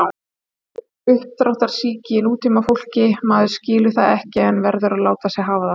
Einhver uppdráttarsýki í nútímafólki, maður skilur það ekki en verður að láta sig hafa það.